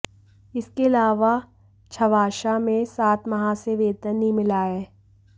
इसके अलावा छावशा में सात माह से वेतन नहीं मिला है